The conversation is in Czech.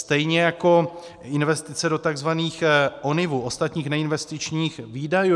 Stejně jako investice do tzv. ONIV - ostatních neinvestičních výdajů.